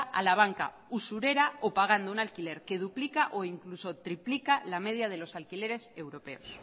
a la banca usurera o pagando un alquiler que duplica o incluso triplica la media de los alquileres europeos